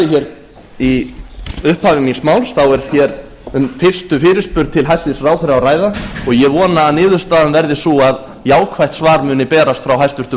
sagði í upphafi míns máls þá er hér um fyrstu fyrirspurn til hæstvirts ráðherra að ræða og ég vona að niðurstaðan verði sú að jákvætt svar muni berast frá hæstvirtum